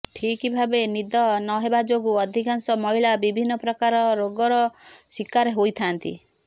ଠିକ୍ ଭାବେ ନିଦ ନ ହେବା ଯୋଗୁଁ ଅଧିକାଂଶ ମହିଳା ବିଭିନ୍ନ ପ୍ରକାର ରୋଗର ଶିକାର ହୋଇଥାନ୍ତି